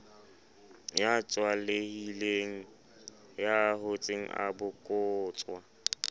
ya tswalehileng ya hotseng abokotswa